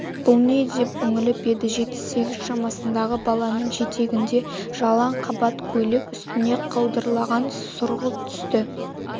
бұл не деп үңіліп еді жеті-сегіз шамасындағы баланың жетегінде жалаң қабат көйлек үстіне қаудырлаған сұрғылт түсті